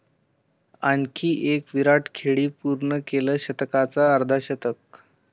आणखी एक 'विराट' खेळी, पूर्ण केलं शतकांचं अर्धशतक!